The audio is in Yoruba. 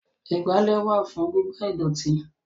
Ìgbálẹ́ wà fún gígbá ìdọ̀tí